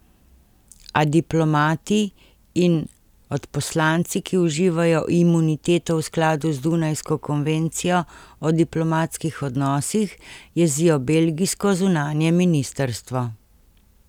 A diplomati in odposlanci, ki uživajo imuniteto v skladu z Dunajsko konvencijo o diplomatskih odnosih, jezijo belgijsko zunanje ministrstvo.